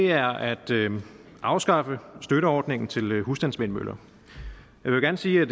er at afskaffe støtteordningen til husstandsvindmøller jeg vil gerne sige